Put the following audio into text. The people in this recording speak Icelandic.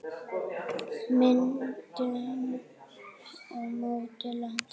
Myndun og mótun lands